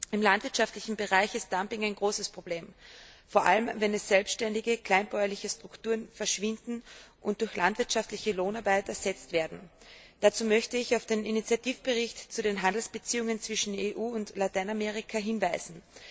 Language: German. Im landwirtschaftlichen Bereich ist Dumping ein großes Problem, vor allem wenn selbständige, kleinbäuerliche Strukturen verschwinden und durch landwirtschaftliche Lohnarbeit ersetzt werden. Dazu möchte ich auf den Initiativbericht zu den Handelsbeziehungen zwischen der EU und Lateinamerika hinweisen.